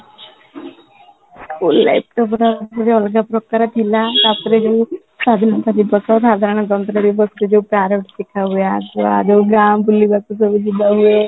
school life ଟା ପୁରା ଅଲଗା ପ୍ରକାର ଥିଲା ତାପରେ ବି ସ୍ୱାଧୀନତା ଦିବସ, ସାଧାରଣତନ୍ତ୍ର ଦିବସ କେବେ parrot କଥା ହୁଏ ଆଜି ଆମେ ବୁଲିବାକୁ ଯିବା